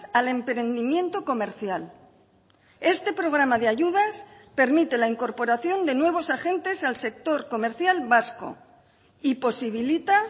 al emprendimiento comercial este programa de ayudas permite la incorporación de nuevos agentes al sector comercial vasco y posibilita